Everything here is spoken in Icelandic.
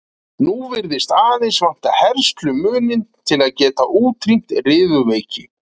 Nú virðist aðeins vanta herslumuninn til að geta útrýmt riðuveiki.